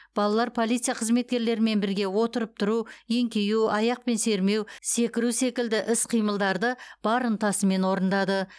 балалар полиция қызметкерлерімен бірге отырып тұру еңкею аяқпен сермеу секіру секілді іс қимылдарды бар ынтасымен орындады